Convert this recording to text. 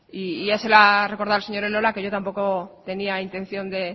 y ya se lo ha recordado el señor elola que yo tampoco tenía intención de